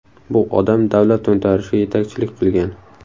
Bu odam davlat to‘ntarishiga yetakchilik qilgan.